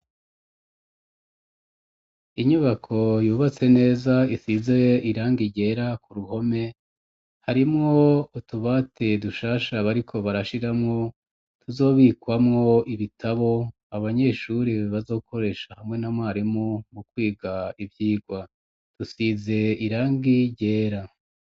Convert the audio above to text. Inyubako yubatse neza isize irangi ryera ku ruhome harimwo utubate dushasha bariko barashiramwo tuzobikamwo ibitabo abanyeshuri bazokoresha hamwe na mwarimu mu kwiga ivyigwa dusize irangi ryera